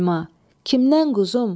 Səlma, kimdən quzum?